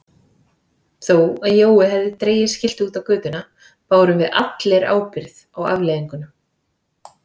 Þó að Jói hefði dregið skiltið út á götuna bárum við allir ábyrgð á afleiðingunum.